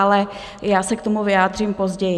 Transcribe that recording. Ale já se k tomu vyjádřím později.